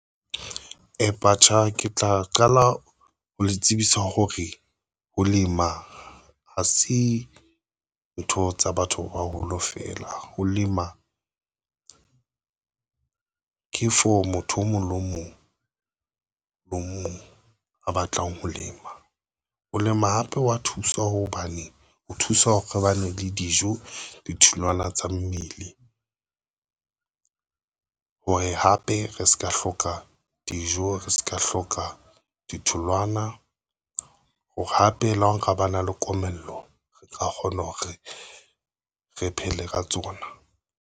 Ke tla qala ho le tsebisa hore ho lema ha se ntho tsa batho ba baholo fela ho lema ke for motho o mong le o mong le o mong a batlang ho lema o lema hape wa thusa hobane ho thusa hore re bane le dijo ditholwana tsa mmele ng hore hape re se ka hloka dijo, re se ka hloka ditholwana hore hape le hore ba na le komello re ka kgona hore re phele ka tsona.